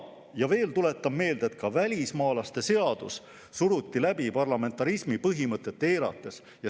Veel tuletan meelde, et ka välismaalaste seadus suruti läbi parlamentarismi põhimõtet eirates.